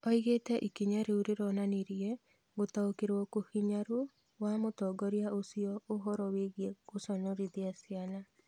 Oigĩte ikinya rĩu rũronanirie "gũtaũkĩrwo kũhinyaru" wa mũtongoria ũcio ũhoro wĩigie gũconorothia ciana